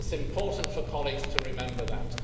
It is important for colleagues to remember that.